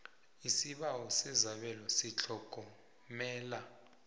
isibawo sesabelo setlhogomelo